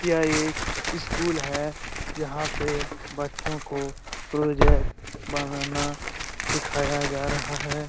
यह एक स्कूल है जहाँ पे बच्चों को प्रोजेक्ट बनाना सिखाया जा रहा है।